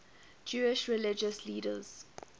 jewish religious leaders